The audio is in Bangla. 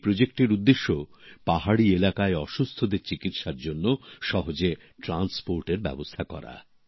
এই প্রকল্পর উদ্দেশ্য পাহাড়ি এলাকায় অসুস্থদের চিকিৎসার জন্য সহজে পরিবহনের ব্যবস্থা করা